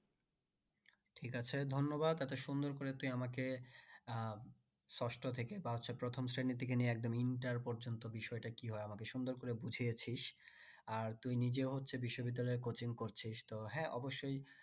ঠিক আছে ধন্যবাদ এতো সুন্দর করে তুই আমাকে আহ ষষ্ট থেকে বা সেই প্রথম শ্রেণী থেকে নিয়ে একদম inter পর্যন্ত বিষয়টা কি হয় আমাকে সুন্দর করে বুঝিয়েছিস আর তুই নিজেও হচ্ছে বিশ্ববিদ্যালয়ের coaching করছিস তো হ্যাঁ অবশ্যই